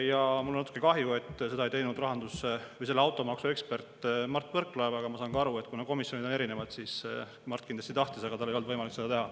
Ja mul on natuke kahju, et seda ei teinud automaksuekspert Mart Võrklaev, aga ma saan aru, et kuna komisjonid on erinevad, siis Mart kindlasti tahtis, aga tal ei olnud võimalik seda teha.